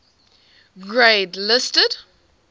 grade listed